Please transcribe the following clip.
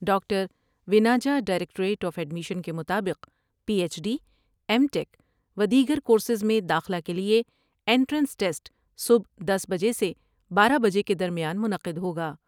Doctor و نا جا ڈائریکٹوریٹ آف ایڈمیشن کے مطابق P H D, M Tech و دیگر کورس میں داخلہ کے لئے انٹرنس ٹسٹ صبح دس بجے سے بارہ بجے کے درمیان منعقد ہوگا ۔